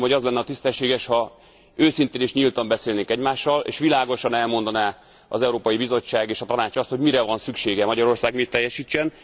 Azt gondolom, hogy az lenne a tisztességes, ha őszintén és nyíltan beszélnénk egymással, és világosan elmondaná az Európai Bizottság és a Tanács azt, hogy mire van szüksége, Magyarország mit teljesítsen.